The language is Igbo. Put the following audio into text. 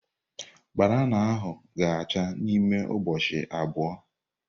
Banana ahu ga acha n'ime ụbọchị abụọ.